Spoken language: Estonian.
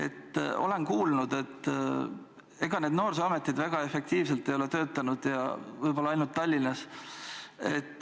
Ma olen kuulnud, et ega need noorsooga tegelevad asutused väga efektiivselt ei ole töötanud, võib-olla ainult Tallinnas on.